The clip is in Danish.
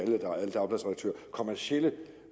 kommercielle